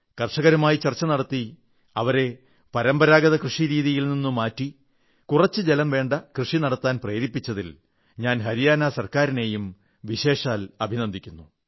കർഷകരുമായി ചർച്ച നടത്തി അവരെ പരമ്പരാഗത കൃഷിയിൽ നിന്ന് മാറ്റി കുറച്ച് ജലം വേണ്ട കൃഷി നടത്താൻ പ്രേരിപ്പിച്ചതിൽ ഞാൻ ഹരിയാനാ ഗവൺമെന്റിനെയും പ്രത്യേകമായി അഭിനന്ദിക്കുന്നു